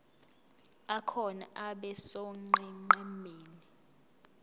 akhona abe sonqenqemeni